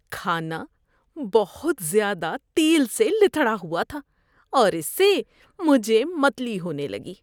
کھانا بہت زیادہ تیل سے لتھڑا ہوا تھا اور اس سے مجھے متلی ہونے لگی۔